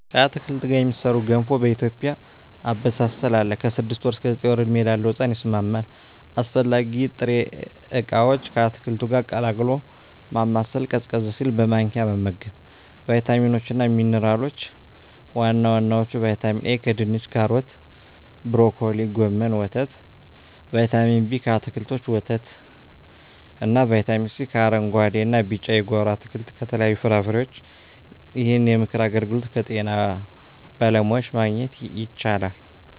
ከአትክልት ጋር የሚሠራ ገንፎ በኢትዮጵያ አበሳሰል አለ። ከ6 ወር እስከ 9 ወር ዕድሜ ላለው ሕጻን ይስማማል። 189 አስፈላጊ ጥሬ ዕቃዎች አስፈላጊ ጥሬ...፣ ከአትክልቱ ጋር ቀላቅሎ ማማሰል፣ ቀዝቀዝ ሲል በማንኪያ መመገብ። , ቫይታሚኖች እና ሚንራሎች(ዋና ዋናዎቹ) ✔️ ቫይታሚን ኤ: ከድንች ካሮት ብሮኮሊ ጎመን ወተት ✔️ ቫይታሚን ቢ: ከአትክልቶች ወተት እና ✔️ ቫይታሚን ሲ: ከአረንጉአዴ እና ቢጫ የጓሮ አትክልት ከተለያዩ ፍራፍሬዎች ይህንን የምክር አገልግሎት ከጤና ባለሙያዎች ማግኘት ይቻላል።